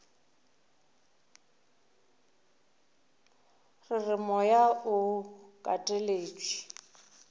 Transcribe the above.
re re moya o kateletšwe